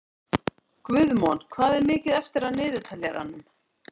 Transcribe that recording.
Guðmon, hvað er mikið eftir af niðurteljaranum?